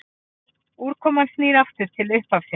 Úrkoman snýr aftur til upphafsins.